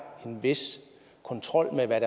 en vis kontrol med hvad